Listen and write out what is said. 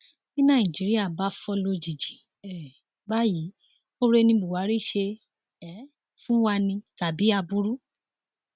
bí nàìjíríà bá fò lójijì um báyìí oore ni buhari ṣe um fún wa ni tàbí aburú